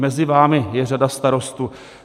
Mezi vámi je řada starostů.